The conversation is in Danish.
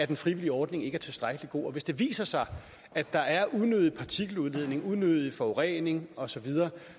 den frivillige ordning ikke er tilstrækkelig god og hvis det viser sig at der er en unødig partikeludledning unødig forurening osv